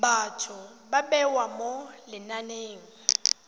batho ba bewa mo lenaneng